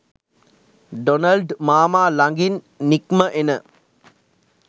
Donald මාමා ළඟින් නික්ම එන